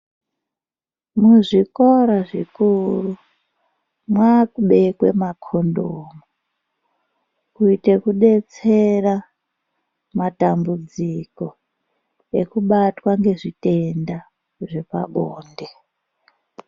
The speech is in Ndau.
Muzvikora zvikuru mwakubekwe makondomu kuite kudetsera matambudziko ekubatwa ngezvitenda zvepabonde.